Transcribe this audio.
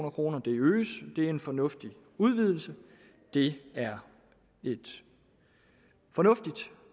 og det øges det er en fornuftig udvidelse det er et fornuftigt